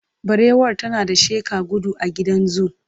barewar tana ta sheƙa gudu a gidan zoo.